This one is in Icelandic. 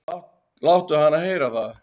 """Láttu hana heyra það,"""